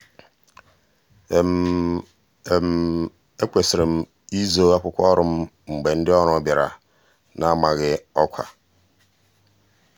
ekwesịrị m izoo akwụkwọ ọrụ m mgbe ndị ọbịa bịara n'amaghị ọkwa